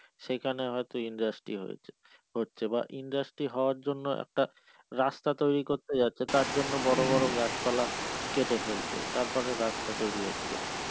সেখানে হয়ত industry হয়েছে হচ্ছে বা industry হওয়ার জন্য একটা রাস্তা তৈরি করতে যাচ্ছে তার জন্য বড় বড় গাছ পালা কেটে ফেলছে তারপরে রাস্তা তৈরী হচ্ছে,